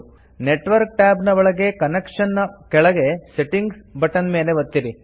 network tab ನ ಒಳಗೆ connection ನ ಕೆಳಗೆ ಸೆಟ್ಟಿಂಗ್ಸ್ ಬಟನ್ ಮೇಲೆ ಒತ್ತಿರಿ